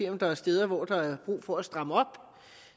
om der er steder hvor der er brug for at stramme op